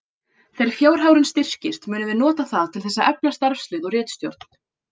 Þegar fjárhagurinn styrkist munum við nota það til þess að efla starfslið og ritstjórn.